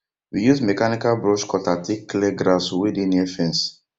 we use mechanical brush cutter take clear grass wey dey near fence